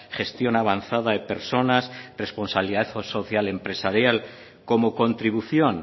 gestión avanzada de personas responsabilidad social y empresarial como contribución